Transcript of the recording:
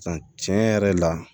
San tiɲɛn yɛrɛ la